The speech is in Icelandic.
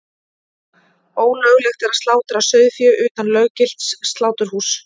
Ólöglegt er að slátra sauðfé utan löggilts sláturhúss.